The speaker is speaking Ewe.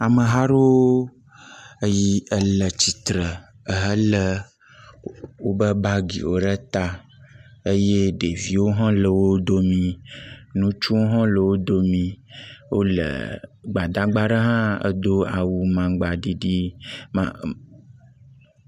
Ameha aɖewo le tsitre helé wobe bagiwo ɖe ta eye ɖeviwo hã le wo dome, ŋutsuwo hã le wo dome. Wole, gbadagba ɖe hã do awu amagba ɖiɖi ma a…